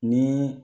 Ni